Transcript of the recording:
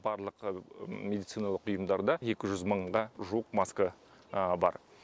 барлық медициналық ұйымдарда екі жүз мыңға жуық маска бар